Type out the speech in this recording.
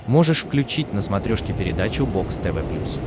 можешь включить на смотрешке передачу бокс тв плюс